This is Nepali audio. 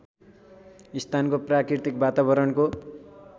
स्थानको प्राकृतिक वातावरणको